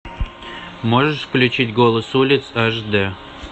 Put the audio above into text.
можешь включить голос улиц аш дэ